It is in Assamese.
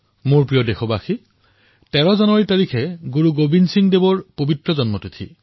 মোৰ মৰমৰ দেশবাসীসকল ১৩ জানুৱাৰী গুৰু গোৱিন্দ সিংজীৰো জন্ম তিথি